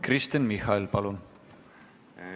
Kristen Michal, palun!